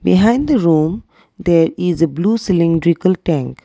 behind the room there is a blue cylindrical tank.